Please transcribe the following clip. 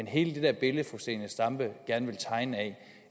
hele det her billede fru zenia stampe gerne vil tegne